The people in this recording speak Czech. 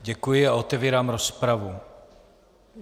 Děkuji a otevírám rozpravu.